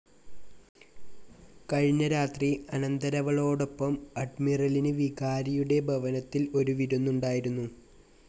കഴിഞ്ഞ രാത്രി അനന്തരവളോടൊപ്പം അഡ്മിറലിന് വികാരിയുടെ ഭവനത്തിൽ ഒരു വിരുന്നുണ്ടായിരുന്നു.